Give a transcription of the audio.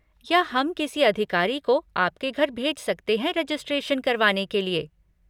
या हम किसी अधिकारी को आपके घर भेज सकते हैं रेजिस्ट्रेशन करवाने के लिए।